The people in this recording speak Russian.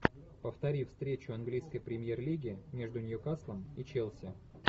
повтори встречу английской премьер лиги между ньюкаслом и челси